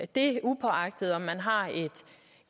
det er uagtet at man har